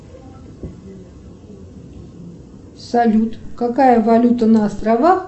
салют какая валюта на островах